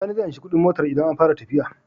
Sani zai anshi Ƙudin motar idan an fara tafiya